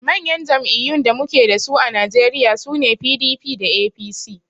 Manyan jam'iyyun da muke dasu a najeriya sune PDP da APC